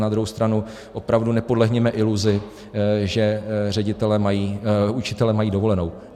Na druhou stranu opravdu nepodlehněme iluzi, že učitelé mají dovolenou.